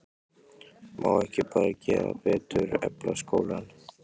Má ekki bara gera betur, efla skólann?